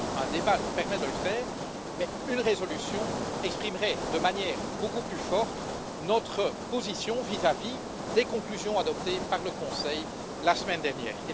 Bien sûr, un débat permet de le faire, mais une résolution exprimerait de manière beaucoup plus forte notre position vis à vis des conclusions adoptées par le Conseil la semaine dernière.